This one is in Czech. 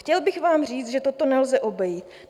Chtěl bych vám říct, že toto nelze obejít.